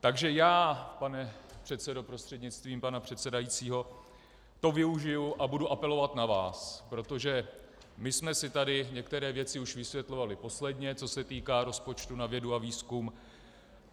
Takže já, pane předsedo prostřednictvím pana předsedajícího, to využiji a budu apelovat na vás, protože my jsme si tady některé věci už vysvětlovali posledně, co se týká rozpočtu na vědu a výzkum.